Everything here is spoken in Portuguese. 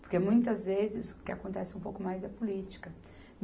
Porque muitas vezes o que acontece um pouco mais é política.